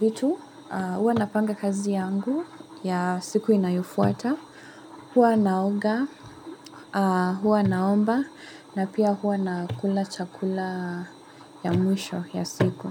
vitu, hua na panga kazi yangu ya siku inayufuata, hua naoga, hua naomba, na pia hua na kula chakula ya mwisho ya siku.